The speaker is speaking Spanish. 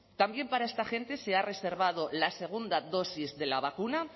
también para esta gente se ha reservado la segunda dosis de la vacuna